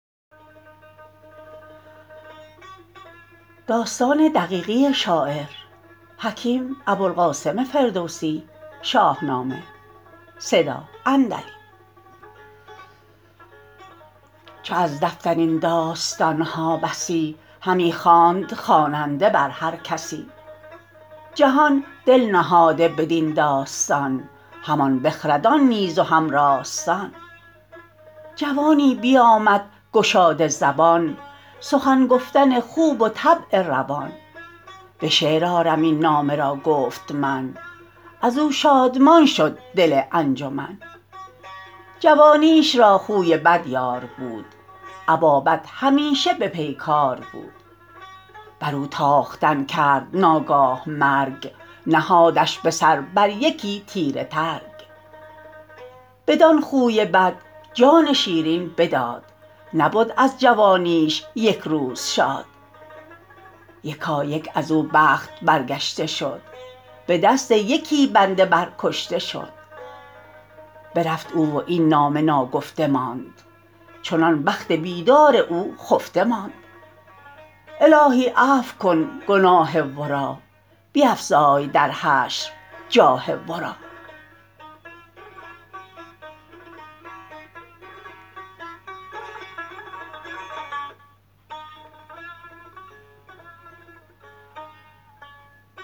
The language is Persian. چو از دفتر این داستان ها بسی همی خواند خواننده بر هر کسی جهان دل نهاده بدین داستان همان بخردان نیز و هم راستان جوانی بیامد گشاده زبان سخن گفتن خوب و طبع روان به شعر آرم این نامه را گفت من از او شادمان شد دل انجمن جوانیش را خوی بد یار بود ابا بد همیشه به پیکار بود بر او تاختن کرد ناگاه مرگ نهادش به سر بر یکی تیره ترگ بدان خوی بد جان شیرین بداد نبد از جوانیش یک روز شاد یکایک از او بخت برگشته شد به دست یکی بنده بر کشته شد برفت او و این نامه ناگفته ماند چنان بخت بیدار او خفته ماند الهی عفو کن گناه ورا بیفزای در حشر جاه ورا